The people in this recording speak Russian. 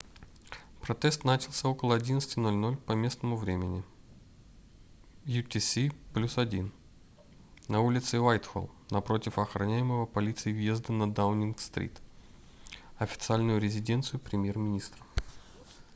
протест начался около 11:00 по местному времени utc+1 на улице уайтхолл напротив охраняемого полицией въезда на даунинг-стрит официальную резиденцию премьер-министра